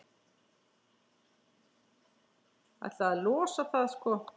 Ætlaði að losa það, sko.